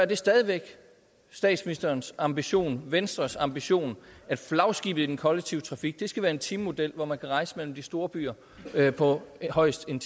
det stadig væk er statsministerens ambition venstres ambition at flagskibet i den kollektive trafik skal være en timemodel hvor man kan rejse mellem de store byer på højst en